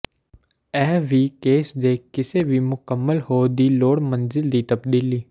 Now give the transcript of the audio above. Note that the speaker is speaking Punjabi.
ਵਿਚ ਇਹ ਕੇਸ ਦੇ ਕਿਸੇ ਵੀ ਮੁਕੰਮਲ ਹੋ ਦੀ ਲੋੜ ਮੰਜ਼ਿਲ ਦੀ ਤਬਦੀਲੀ